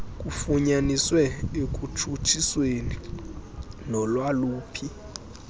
kufunyaniswe ekutshutshiseni nolwaluphi